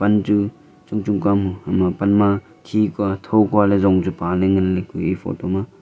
am chu chungchung ka mua ama pan ma khi kua tho kua le jong chepa le nganle kue eya photo ma aa.